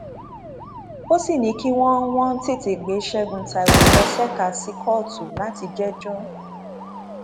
ó sì ní kí wọn wọn tètè gbé ṣẹgun taiwo lọ ṣèkà sí kóòtù láti jẹjọ